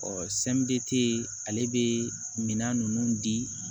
ale bɛ minan ninnu di